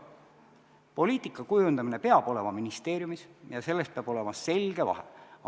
Poliitika kujundamine peab olema ministeeriumis ja selles peab olema selge vahe.